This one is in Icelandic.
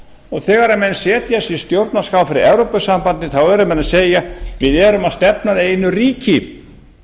og þegar menn setja sér stjórnarskrá fyrir evrópusambandið þá eru menn að segja við erum að stefna að einu ríki